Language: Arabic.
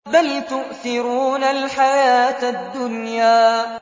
بَلْ تُؤْثِرُونَ الْحَيَاةَ الدُّنْيَا